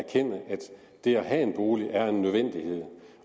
det at have en bolig er en nødvendighed